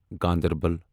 Ganderbal